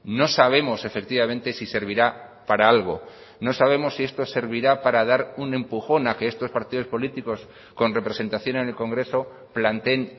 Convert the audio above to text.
no sabemos efectivamente si servirá para algo no sabemos si esto servirá para dar un empujón a que estos partidos políticos con representación en el congreso planteen